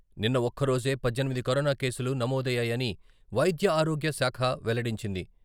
నిన్న ఒక్కరోజే పద్దెనిమిది కరోనా కేసులు నమోదయ్యాయని వైద్యారోగ్యశాఖ వెల్లడించింది.